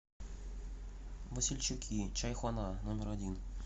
васильчуки чайхона номер один